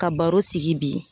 Ka baro sigi bi